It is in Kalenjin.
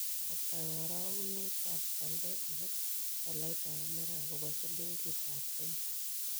Ata karagunetap walet ne po tolaitap amerika kobwa silingitap kenya